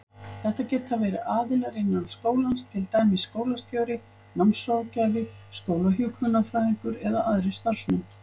Þetta geta verið aðilar innan skólans, til dæmis skólastjóri, námsráðgjafi, skólahjúkrunarfræðingur eða aðrir starfsmenn.